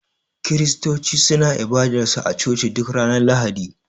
kiristoci suna ibadar su a coci duk Ranar lahadi.